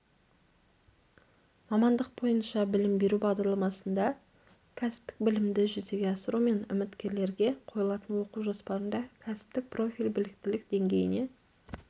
мамандық бойынша білім беру бағдарламасында кәсіптік білімді жүзеге асыру мен үміткерлерге қойылатын оқу жоспарында кәсіптік профиль біліктілік деңгейіне